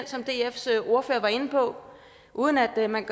som dfs ordfører var inde på uden at man